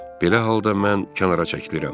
Belə halda mən kənara çəkilirəm.